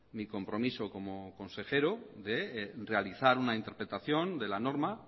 mi compromiso como consejero de realizar una interpretación de la norma